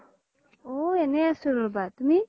ওহ এনে আছো ৰবা তুমি